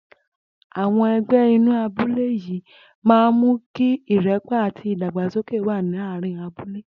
Àwo̩n e̩gbé̩ inú abúlé yìí máa ń mú kí ìré̩pò̩ àti ìdàgbàsókè wà láàárín abúlé